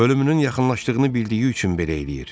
Ölümünün yaxınlaşdığını bildiyi üçün belə eləyir.